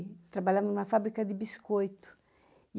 trabalhar em uma fábrica de biscoito.